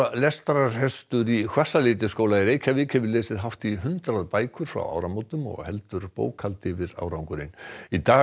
lestrarhestur í Hvassaleitisskóla í Reykjavík hefur lesið hátt í hundrað bækur frá áramótum og heldur bókhald yfir árangurinn í dag